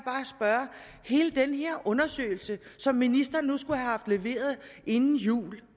undersøgelse som ministeren skulle have haft leveret inden jul